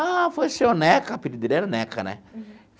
Ah, foi seu Neca, apelido dele era Neca, né?